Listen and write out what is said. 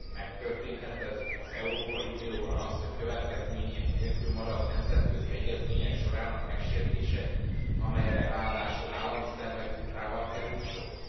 Megtörténhet az Európai Unióban az, hogy következmények nélkül marad nemzetközi egyezmények sorának megsértése, amelyre ráadásul állami szervek tudtával került sor?